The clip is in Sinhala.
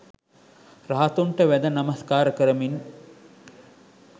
රහතුන්ට වැඳ නමස්කාර කරමින්